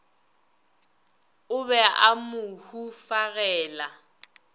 o be a mo hufagela